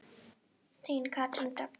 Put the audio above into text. Þín Katrín Dögg.